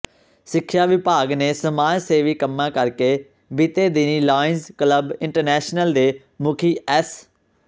ਸਿਖਿਆ ਵਿਭਾਗ ਤੇ ਸਮਾਜ ਸੇਵੀ ਕੰਮਾਂ ਕਰਕੇ ਬੀਤੇ ਦਿਨੀ ਲਾਇਨਜ਼ ਕਲੱਬ ਇੰਟਰਨੈਸਨਲ ਦੇ ਮੁਖੀ ਐਸ